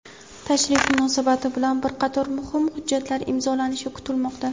Tashrif munosabati bilan bir qator muhim hujjatlar imzolanishi kutilmoqda.